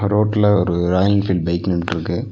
Road ல ஒரு Royal Enfield bike நின்ட்ருக்கு.